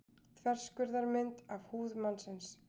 Þverskurðarmynd af húð mannsins.